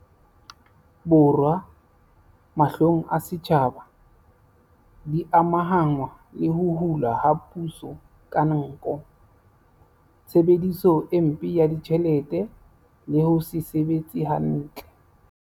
Borwa, mahlong a setjhaba, di amahanngwa le ho hulwa ha puso ka nko, tshebediso e mpe ya ditjhelete le ho se sebetse hantle.